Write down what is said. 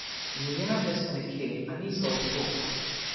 Milijarde so nekje, a niso v obtoku.